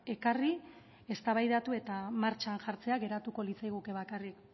ekarri eztabaidatu eta martxan jartzea geratuko litzaiguke bakarrik